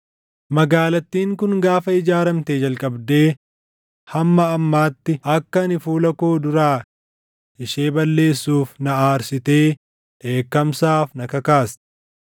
Magaalattiin kun gaafa ijaaramtee jalqabdee hamma ammaatti akka ani fuula koo duraa ishee balleessuuf na aarsitee dheekkamsaaf na kakaaste.